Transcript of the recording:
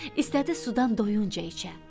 İstədi sudan doyunca içə.